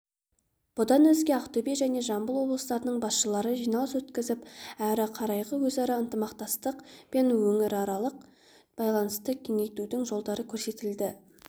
бұдан өзге ақтөбе және жамбыл облыстарының басшылары жиналыс өткізіп әрі қарайғы өзара ынтымақтастық пен өңіраралық байланысты кеңейтудің жолдары көрсетілді